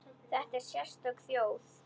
Þetta er sérstök þjóð.